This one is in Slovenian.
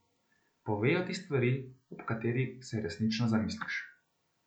Povejo ti stvari, ob katerih se resnično zamisliš.